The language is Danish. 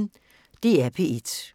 DR P1